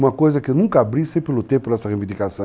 Uma coisa que eu nunca abri, sempre lutei por essa reivindicação.